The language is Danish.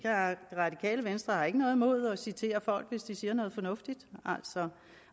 radikale venstre ikke har noget imod at citere folk hvis de siger noget fornuftigt